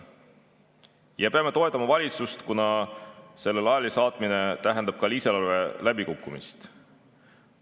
Me peame toetama valitsust, kuna selle laialisaatmine tähendab ka lisaeelarve läbikukkumist.